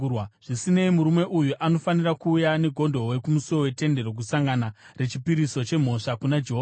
Zvisinei, murume uyu anofanira kuuya negondobwe kumusuo weTende Rokusangana rechipiriso chemhosva kuna Jehovha.